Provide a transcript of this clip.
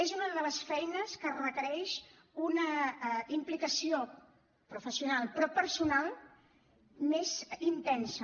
és una de les feines que requereix una implicació professional però personal més intensa